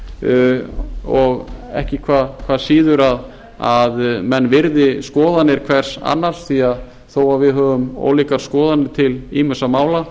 góð og ekki hvað síður að menn virði skoðanir hvers annars því þó við höfum ólíkar skoðanir til ýmissa mála